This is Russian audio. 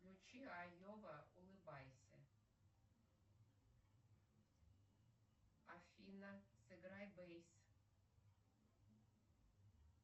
включи айова улыбайся афина сыграй бейс